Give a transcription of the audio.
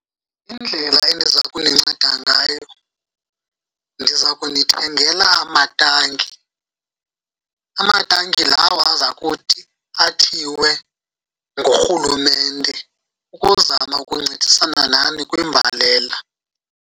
Indlela endiza kuninceda ngayo ndiza kunithengela amatanki, amatanki lawo aza kuthi athiwe ngurhulumente ukuzama ukuncedisana nani kwimbalela.